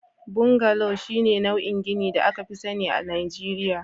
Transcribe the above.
Bungalow shine nau'in ginin da aka fi sani a Najeriya